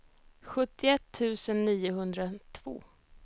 sjuttioett tusen niohundratvå